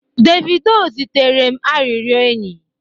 Davido zitere m arịrịọ enyi